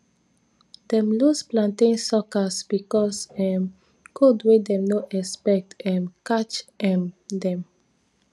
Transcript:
dem lose plantain suckers because um cold wey dem no expect um catch um dem